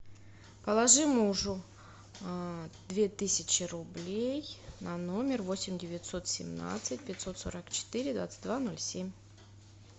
положи мужу две тысячи рублей на номер восемь девятьсот семнадцать пятьсот сорок четыре двадцать два ноль семь